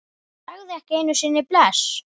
Sagði ekki einu sinni bless.